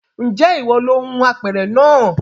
Ǹjẹ́ ìwọ lo hun apẹ̀rẹ̀ naa